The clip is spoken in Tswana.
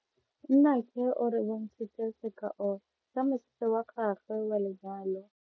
Nnake o re bontshitse sekao sa mosese wa gagwe wa lenyalo.